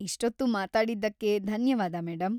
ಇಷ್ಟೊತ್ತು ಮಾತಾಡಿದ್ದಕ್ಕೆ ಧನ್ಯವಾದ, ಮೇಡಂ.